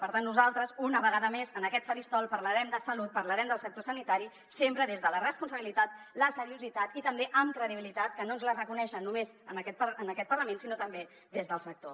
per tant nosaltres una vegada més en aquest faristol parlarem de salut parlarem del sector sanitari sempre des de la responsabilitat la seriositat i també amb credibilitat que no ens la reconeixen només en aquest parlament sinó també des del sector